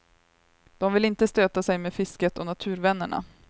De vill inte stöta sig med fisket och naturvännerna.